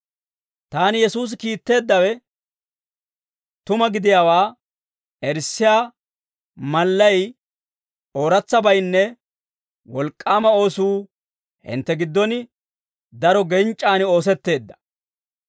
Taana Yesuusi kiitteeddawe tuma gidiyaawaa erissiyaa mallay, ooratsabaynne wolk'k'aama oosuu hintte giddon daro genc'c'an oosetteedda.